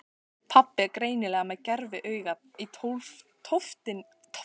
Pabbi er greinilega með gerviaugað í tóftinni af þessu tilefni.